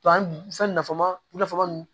To an nafama